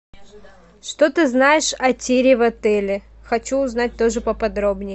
что ты знаешь о тире в отеле хочу узнать тоже поподробней